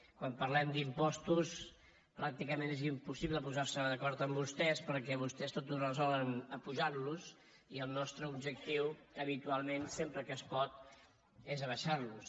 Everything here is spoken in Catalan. quan parlem d’impostos pràcticament és impossible posarse d’acord amb vostès perquè vostès tot ho resolen apujantlos i el nostre objectiu habitualment sempre que es pot és abaixarlos